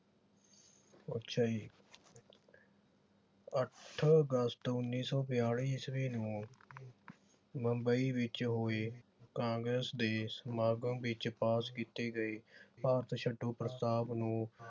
ਅੱਛਾ ਜੀ ਅੱਠ ਅਗਸਤ ਉਨੀ ਸੌ ਬਿਆਲੀ ਈਸਵੀ ਨੂੰ ਬੰਬਈ ਵਿਚ ਹੋਏ ਕਾਂਗਰਸ ਦੇ ਸਮਾਗਮ ਵਿਚ ਪਾਸ ਕੀਤੇ ਗਏ ਭਾਰਤ ਛੱਡੋ ਪ੍ਰਸਤਾਵ ਨੂੰ